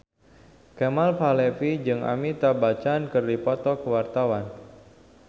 Kemal Palevi jeung Amitabh Bachchan keur dipoto ku wartawan